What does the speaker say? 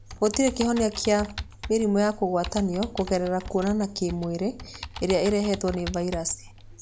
Gũtirĩ kĩhonia kĩa mĩrimũ ya kũgwatanio kũgerera kũona a kĩmwĩrĩ ĩrĩa ĩrehetwo nĩ vairaci.